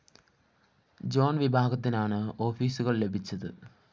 John വിഭാഗത്തിനാണ് ഓഫീസുകള്‍ ലഭിച്ചത്